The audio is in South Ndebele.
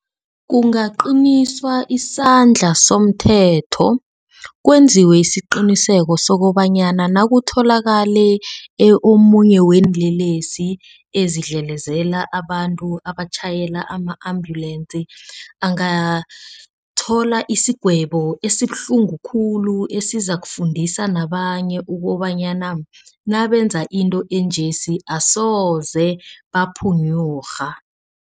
Kungaqiniswa isandla somthetho kwenziwe isiqiniseko sokobanyana nakutholakale omunye weenlelesi ezidlelezela abantu abatjhayela ama-ambulance. Angathola isigwebo esibuhlungu khulu esizakufundisa nabanye ukobanyana nabenza into enje asoze baphunyurha.